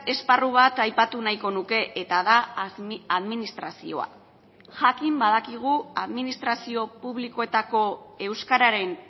esparru bat aipatu nahiko nuke eta da administrazioa jakin badakigu administrazio publikoetako euskararen